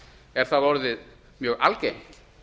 er það orðið mjög algengt